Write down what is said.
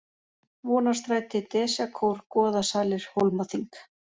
Vonarstræti, Desjakór, Goðasalir, Hólmaþing